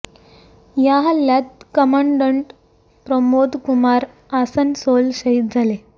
या हल्ल्यात कमांडंट प्रमोद कुमार आसनसोल शहीद झाले